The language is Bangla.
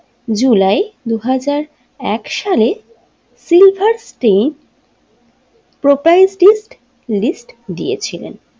জুলাই দুহাজার এক সালে সিলভার স্টেজ প্রোপেরিটিস্ট লিস্ট দিয়েছিলেন।